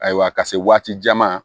Ayiwa ka se waati caman